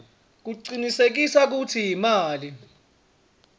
kucinisekisa kutsi imali